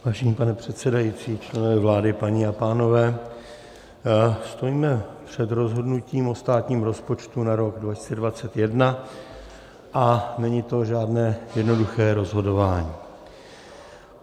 Vážený pane předsedající, členové vlády, paní a pánové, stojíme před rozhodnutím o státním rozpočtu na rok 2021 a není to žádné jednoduché rozhodování.